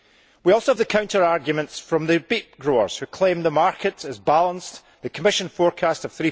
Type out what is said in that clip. We also have the counter arguments from the beet growers, who claim the market is balanced, and that the Commission forecast of